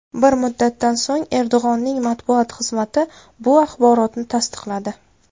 Bir muddatdan so‘ng Erdo‘g‘onning matbuot xizmati bu axborotni tasdiqladi .